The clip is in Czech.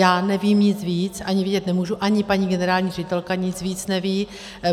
Já nevím nic víc, ani vědět nemůžu, ani paní generální ředitelka nic víc neví.